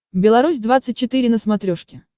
беларусь двадцать четыре на смотрешке